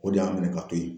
O de y'an minɛ ka to yen